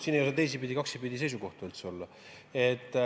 Siin ei saa teisipidi seisukohti üldse olla.